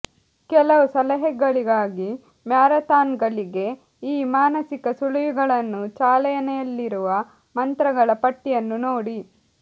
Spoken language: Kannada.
ಕೆಲವು ಸಲಹೆಗಳಿಗಾಗಿ ಮ್ಯಾರಥಾನ್ಗಳಿಗೆ ಈ ಮಾನಸಿಕ ಸುಳಿವುಗಳನ್ನು ಚಾಲನೆಯಲ್ಲಿರುವ ಮಂತ್ರಗಳ ಪಟ್ಟಿಯನ್ನು ನೋಡಿ